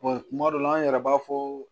kuma dɔ la an yɛrɛ b'a fɔ